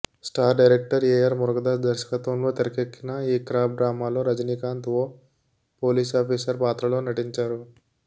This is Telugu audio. స్టార్ డైరెక్టర్ ఏఆర్ మురుగదాస్ దర్శకత్వంలో తెరకెక్కిన ఈ కాప్ డ్రామాలో రజినీకాంత్ ఓ పోలీసాఫీసర్ పాత్రలో నటించారు